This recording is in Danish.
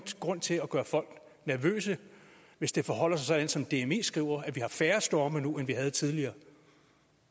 grund til at gøre folk nervøse hvis det forholder sig som dmi skriver nemlig at vi har færre storme nu end vi havde tidligere